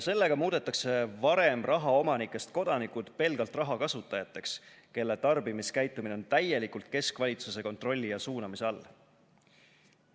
Sellega muudetakse varem rahaomanikest kodanikud pelgalt rahakasutajateks, kelle tarbimiskäitumine on täielikult keskvalitsuse kontrolli ja suunamise all.